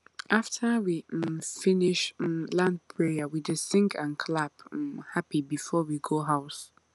after we um finish um land prayer we dey sing and clap um happy before we go house